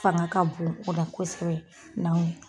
Fanga ka bon o la kosɛbɛ n'anw ye